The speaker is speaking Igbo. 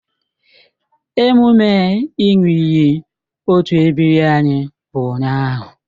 Emume ị ṅụọ iyi otu ebiri anyị bụ ụnyahụ